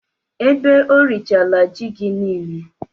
Ebe o rịchala ji gị niile?